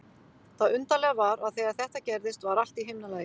Það undarlega var að þegar þetta gerðist var allt í himnalagi.